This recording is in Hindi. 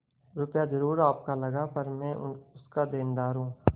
रुपया जरुर आपका लगा पर मैं उसका देनदार हूँ